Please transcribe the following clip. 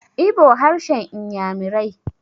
Igbo harshen inyamirai